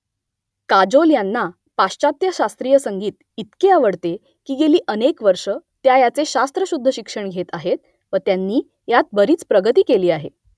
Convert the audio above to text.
काजोल यांना पाश्चात्य शास्त्रीय संगीत इतके आवडते की गेली अनेक वर्ष त्या याचे शास्त्रशुद्ध शिक्षण घेत आहेत , व त्यांनी यात बरीच प्रगती केली आहे